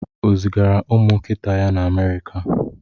O zigara ụmụ nkịta ya na Amerika?